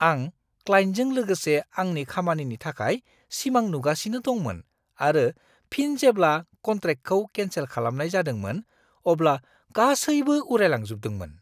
आं क्लाइन्टजों लोगोसे आंनि खामानिनि थाखाय सिमां नुगासिनो दंमोन आरो फिन जेब्ला कन्ट्रेक्टखौ केन्सेल खालामनाय जादोंमोन, अब्ला गासैबो उरायलांजोबदोंमोन!